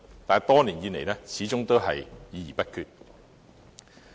但是，多年以來，始終都是議而不決。